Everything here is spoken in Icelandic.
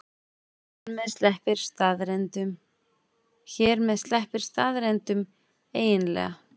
Hér með sleppir staðreyndunum eiginlega.